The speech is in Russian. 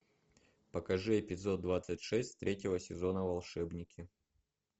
покажи эпизод двадцать шесть третьего сезона волшебники